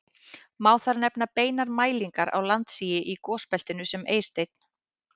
Má þar nefna beinar mælingar á landsigi í gosbeltinu sem Eysteinn